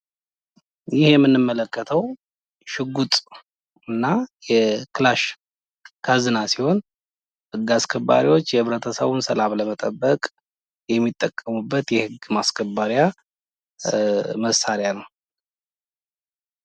ይህ የምንመለከተው ሽጉጥና ክላሽ ካዝና ሲሆን ህግ አስከባሪዎች የህብረተሰቡን ሰላም ለመጠበቅ የሚጠቀሙበት የህግ ማስከበሪያ መሳሪያ ነው።